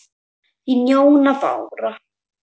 Þín, Jóna Bára.